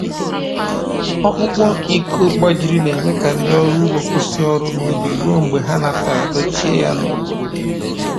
Ọkpụkpọ iko gbajiri na-eme ka ndị ọrụ ugbo kwụsị ọrụ n’ubi ruo mgbe ha natara dochie ya n’obodo.